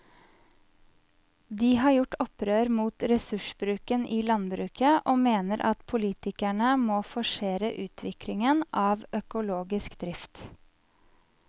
De har gjort opprør mot ressursbruken i landbruket og mener at politikerne må forsere utviklingen av økologisk drift.